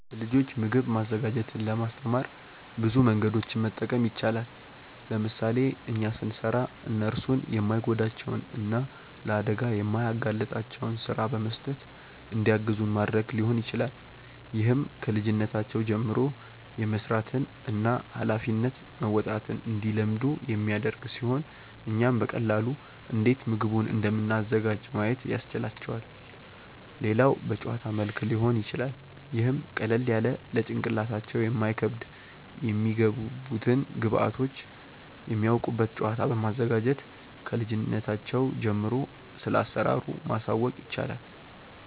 ለልጆች ምግብ ማዘጋጀትን ለማስተማር ብዙ መንገዶችን መጠቀም ይቻላል። ለምሳሌ እኛ ስንሰራ እነርሱን የማይጎዳቸውን እና ለአደጋ የማያጋልጣቸውን ስራ በመስጠት እንዲያግዙን ማድረግ ሊሆን ይችላል። ይህም ከልጅነታቸው ጀምሮ የመስራትን እና ሃላፊነት መወጣትን እንዲለምዱ የሚያደርግ ሲሆን እኛም በቀላሉ እንዴት ምግቡን እንደምናዘጋጅ ማየት ያስችላቸዋል። ሌላው በጨዋታ መልክ ሊሆን ይችላል ይህም ቀለል ያለ ለጭንቅላታቸው የማይከብድ የሚገቡትን ግብዐቶች የሚያውቁበት ጨዋታ በማዘጋጀት ክልጅነታቸው ጀምሮ ስለአሰራሩ ማሳወቅ ይቻላል።